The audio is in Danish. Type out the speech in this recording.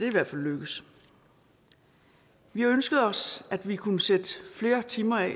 i hvert fald lykkedes vi ønskede os at vi kunne sætte flere timer af